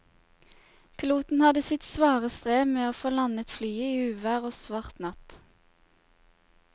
Piloten hadde sitt svare strev med å få landet flyet i uvær og svart natt.